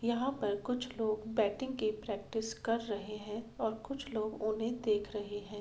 यहाँ पर कुछ लोग बैटिंग की प्रैक्टिस कर रहे हैं और कुछ लोग उन्हे देख रहे हैं।